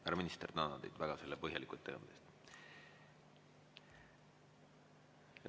Härra minister, tänan teid väga selle põhjaliku ettekande eest.